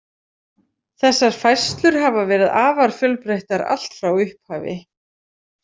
Þessar færslur hafa verið afar fjölbreyttar allt frá upphafi.